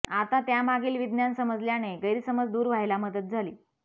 आता त्यामागील विज्ञान समजल्याने गैरसमज दूर व्हायला मदत झाली